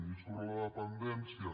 i sobre la dependència